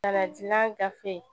Ladilan gafe